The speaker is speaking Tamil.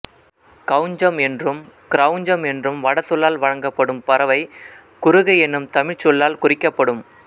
கௌஞ்சம் என்றும் கிரவுஞ்சம் என்றும் வடசொல்லால் வழங்கப்படும் பறவை குருகு என்னும் தமிழ்ச்சொல்லால் குறிக்கப்படும்